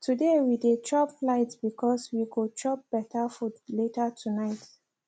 today we dey chop light because we go chop better food later tonight